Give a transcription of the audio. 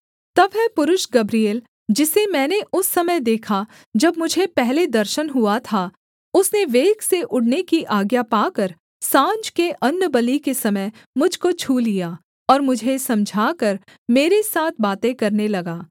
तब वह पुरुष गब्रिएल जिसे मैंने उस समय देखा जब मुझे पहले दर्शन हुआ था उसने वेग से उड़ने की आज्ञा पाकर साँझ के अन्नबलि के समय मुझ को छू लिया और मुझे समझाकर मेरे साथ बातें करने लगा